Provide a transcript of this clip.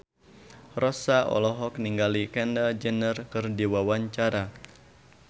Rossa olohok ningali Kendall Jenner keur diwawancara